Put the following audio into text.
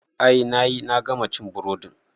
I nayi, na gama cin burodin